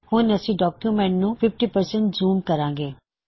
ਹੁਣ ਅਸੀ ਡੌਕਯੁਮੈੱਨਟ ਨੂੰ 50 ਜ਼ੂਮ ਕਰਾਂਗੇ